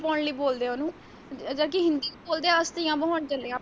ਫੁੱਲ ਪਾਉਣ ਲਈ ਬੋਲਦੇ ਉਹਨੂੰ ਜਦ ਕਿ ਅਹ ਹਿੰਦੀ ਦੇ ਵਿੱਚ ਬੋਲਦੇ ਅਸਤੀਆ ਬਹਾਣ ਚੱਲੇ ਆਂ ਆਪਾਂ।